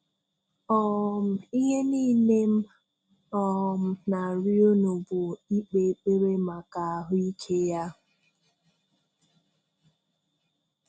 um Ihe niilè m um na-àrị̀ọ̀ unu bụ̀ ị̀kpè ekpere maka àhụ́ ike ya.